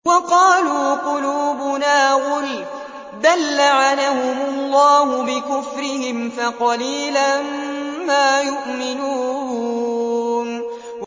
وَقَالُوا قُلُوبُنَا غُلْفٌ ۚ بَل لَّعَنَهُمُ اللَّهُ بِكُفْرِهِمْ فَقَلِيلًا مَّا يُؤْمِنُونَ